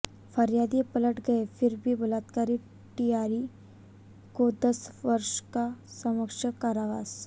फरियादी पलट गए फिर भी बलात्कारी टीआई को दस वर्ष का सश्रम कारावास